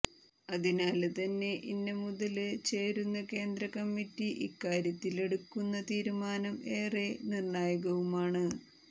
അതിനാല് തന്നെ ഇന്ന മുതല് ചേരുന്ന കേന്ദ്രകമ്മിറ്റി ഇക്കാര്യത്തിലെടുക്കുന്ന തീരുമാനം ഏറെ നിര്ണായകവുമാണ്